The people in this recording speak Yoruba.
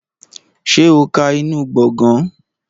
Ṣé o ka inú gbọ̀ngàn?